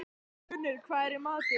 Hildigunnur, hvað er í matinn?